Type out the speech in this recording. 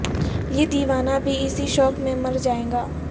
یہ دیوانہ بھی اسی شوق میں مر جائے گا